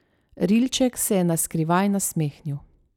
Rilček se je naskrivaj nasmehnil.